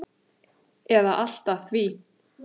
eða allt að því.